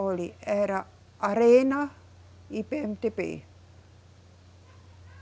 Olhe, era Arena e Pêemedêbê